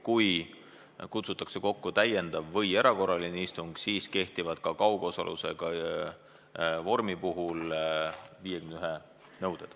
Kui kutsutakse kokku täiendav või erakorraline istung, siis kehtib ka kaugosaluse vormi puhul 51 nõue.